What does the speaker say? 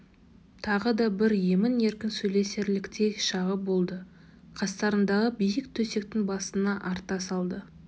тағы да бір емін-еркін сөйлесерліктей шағы болды қастарындағы биік төсектің басына арта салды